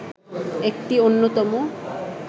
একটি অন্যতম